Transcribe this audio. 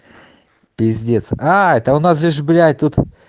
пиздец аа это у нас здесь блять тут